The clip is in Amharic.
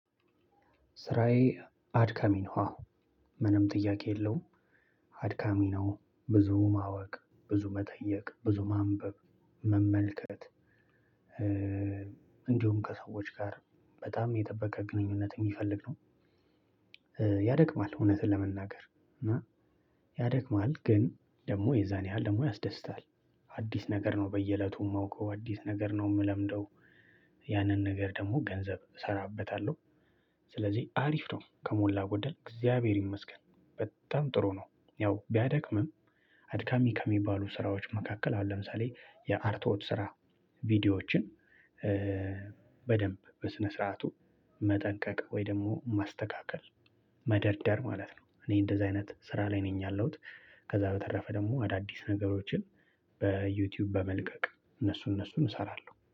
ስራዬ አድካሚ ነው አዎ። ምንም ጥያቄ የለውም አድካሚ ነው ብዙ ማወቅ፣ ብዙ መጠየቅ፣ ብዙ ማንበብ፣ መመልከት እንዲሁም ከሰዎች ጋር በጣም የጠበቀ ግንኙነት የሚፈልግ ነው። ያደክማል እውነቱን ለመናገር ያደክማል ግን ደግሞ የዛኑ ያህል ያስደስታል። አዲስ ነገር ነው በየእለቱ የማውቀው፣ አዲስ ነገር ነው የምለምደው። ያንን ነገር ደግሞ ገንዘብ እሰራበታለሁ። ስለዚህ አሪፍ ነው ከሞላ ጎደል እግዚአብሔር ይመስገን በጣም ጥሩ ነው። ያው ቢያደክምም አድካሚ ከሚባሉ ስራዎች መካከል አሁን ለምሳሌ የአርቶት ስራ ቪዲዮዎችን በደንብ በስነ ስርዓቱ መጠንቀቅ ወይ ደግሞ ማስተካከል መደርደር ማለት ነው። እኔ እንደዛ አይነት ስራ ላይ ነኝ ያለሁት። ከዛ በተረፈ ደግሞ አዳዲስ ነገሮችን በዩትዩብ በመልቀቅ እነሱን እነሱን እሰራለሁ።